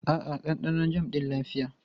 A'a, ɗanɗanon jam ɗin lafiya.